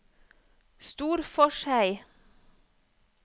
Storforshei